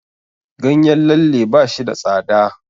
Ganyen lalle ba shi da tsada.